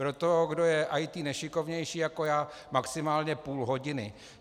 Pro toho, kdo je IT nešikovnější, jako já, maximálně půl hodiny.